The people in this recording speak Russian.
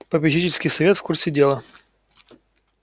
попечительский совет в курсе дела